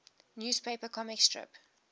newspaper comic strip